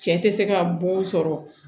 Cɛ tɛ se ka bon sɔrɔ